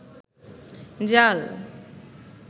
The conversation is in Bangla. জাল